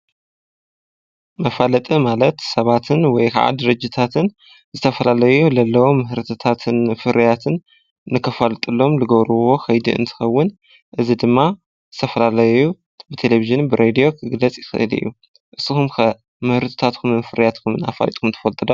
መፋለጥ ማለት ሰባትን ወይ ኸዓ ድረጅታትን ዝተፈላለዩ ለለዎ ምህርትታትን ፍርያትን ንከፋልጥሎም ልገብሩዎ ኸይድእንትኸውን እ ዚድማ ዝተፈላለዩ ብተሌቢዥን ብሬድዮ ኽግለጽ ይኽል እዩ፡፡ እስኹም ምህርትታትኩምም ፍርያትኩምን ኣፋሊጥኩም ተፋልጡ ዶ?